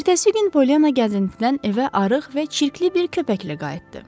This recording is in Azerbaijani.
Ertəsi gün Polyana gəzintidən evə arıq və çirkli bir köpəklə qayıtdı.